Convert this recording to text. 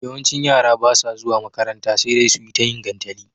yawancin yara basa zuwa makaranta sedai suyi tayin gantali